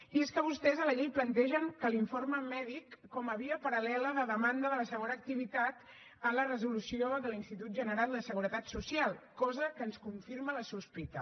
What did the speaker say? i és que vostès a la llei plantegen l’informe mèdic com a via paral·lela de demanda de la segona activitat en la resolució de l’institut general de seguretat social cosa que ens confirma la sospita